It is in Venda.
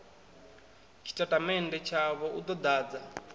tshitatamennde tshavho u ḓo ḓadza